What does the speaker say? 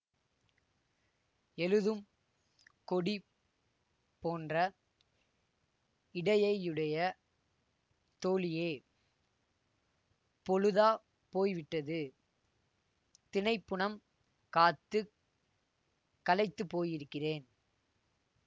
எழுதும் கொடி போன்ற இடையையுடைய தோழியே பொழுதா போய்விட்டது தினைப்புனம் காத்து களைத்துப்போயிருக்கிறேன்